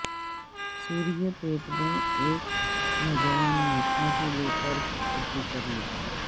سوریہ پیٹ میں ایک نوجوان نے پھانسی لے کر خود کشی کرلی